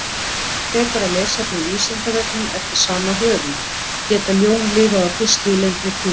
Frekara lesefni á Vísindavefnum eftir sama höfund: Geta ljón lifað á fiski í lengri tíma?